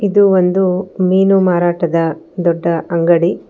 ಇದು ಒಂದು ಮೀನು ಮಾರಾಟದ ದೊಡ್ಡ ಅಂಗಡಿ.